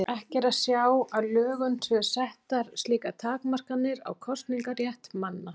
Ekki er að sjá að í lögum séu settar slíkar takmarkanir á kosningarétt manna.